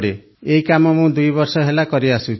ଏହି କାମ ମୁଁ ଦୁଇବର୍ଷ ହେଲା କରିଆସୁଛି